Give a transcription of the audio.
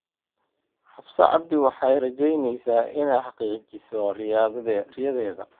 Xafsa cabdi waxay rajaynaysaa inay xaqiijiso riyadeeda.